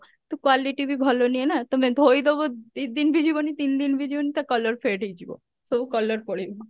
ତ quality ବି ଭଲ ନୁହେଁ ନା ତମେ ଧୋଇଦବ ଦି ଦିନ ବି ଯିବନି ତିନି ଦିନ ବି ଯିବନି ତା colour fade ହେଇଯିବ ସବୁ colour ପଳେଇବ